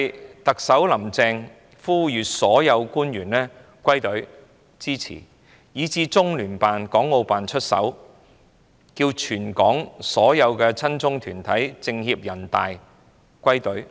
不但特首"林鄭"要呼籲所有官員歸隊支持，中聯辦、港澳辦也要出手要求全港所有親中團體、政協委員、人大代表歸隊。